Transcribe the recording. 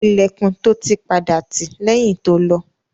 Ilẹ̀kùn to tì padà ṣí lẹ́yìn to lọ.